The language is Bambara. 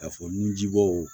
K'a fɔ nunjibɔ